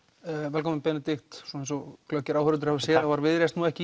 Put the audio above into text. velkominn Benedikt eins og glöggir áhorfendur hafa séð var Viðreisn nú ekki